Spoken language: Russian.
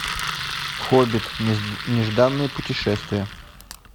хоббит нежданное путешествие